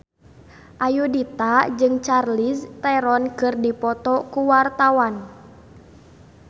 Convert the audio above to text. Ayudhita jeung Charlize Theron keur dipoto ku wartawan